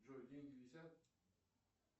джой деньги висят